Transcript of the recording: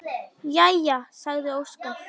Jæja, sagði Óskar.